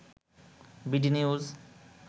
BD news